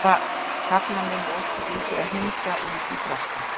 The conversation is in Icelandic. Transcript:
Það gagnar mér nú ósköp lítið að hengja út í frosti.